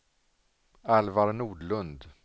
Alvar Nordlund